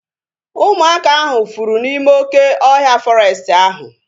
Ụmụaka ahu fụrụ n'ime oké ọhịa fọrestị ahu